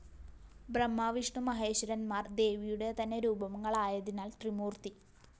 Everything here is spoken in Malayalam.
ബ്രഹ്മാവിഷ്ണുമഹേശ്വരന്മാര്‍ ദേവിയുടെ തന്നെ രൂപങ്ങളായതിനാല്‍ ത്രിമൂര്‍ത്തി